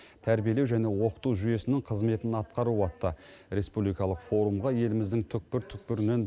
тәрбиелеу және оқыту жүйесінің қызметін атқару атты республикалық форумға еліміздің түкпір түкпірінен